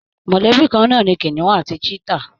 Mọ̀lẹ́bí kan náà ni kìnìún àti Chetta